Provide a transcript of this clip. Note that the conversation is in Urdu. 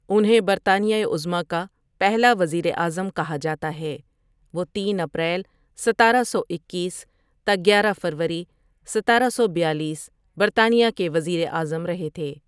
انہیں برطانیہ عظمیٰ کا پہلا وزیر اعظم کہا جاتا ہے وہ تین ؍ اپریل ستارہ سو اکیس تا گیارہ ؍ فروری ستارہ سو بیالیس برطانیہ کے وزیراعظم رہے تھے ۔